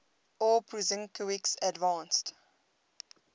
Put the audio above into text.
aw prusinkiewicz advanced